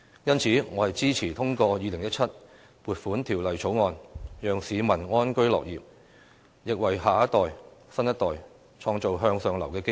因此，我支持通過《2017年撥款條例草案》，讓市民安居樂業，也為新一代創造向上流動的機遇。